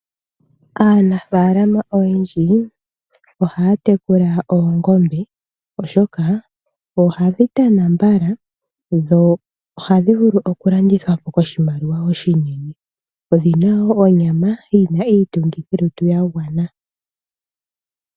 Aanafaalama oyendji ohaya tekula oongombe, oshoka ohadhi tana mbala, dho ohadhi vulu oku landithwa po koshimaliwa oshinene. Odhi na wo onyama yi na iitungithilutu ya gwana.